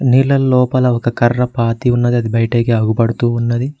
నీళ్ల లోపల ఒక కర్ర పాతి ఉన్నది ఆది బయటకి అగుపడుతూ ఉన్నది.